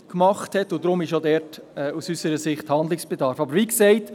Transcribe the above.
Deshalb ist aus unserer Sicht auch dort Handlungsbedarf angezeigt.